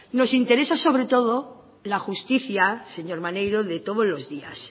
nos interesa sobre todo la justicia señor maneiro de todos los días